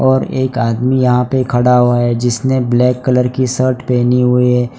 और एक आदमी यहां पे खड़ा हुआ है जिसने ब्लैक कलर की शर्ट पहनी हुई है।